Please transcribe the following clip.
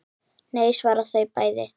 Nei svara þau bæði.